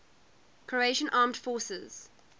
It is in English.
croatian armed forces